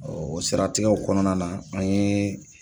O siratigɛw kɔnɔna na an ye